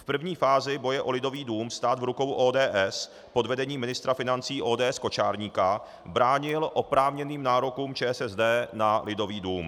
V první fázi boje o Lidový dům stát v rukou ODS pod vedením ministra financí ODS Kočárníka bránil oprávněným nárokům ČSSD na Lidový dům.